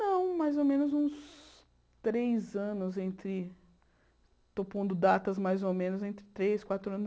Não, mais ou menos uns três anos entre... Estou pondo datas mais ou menos entre três, quatro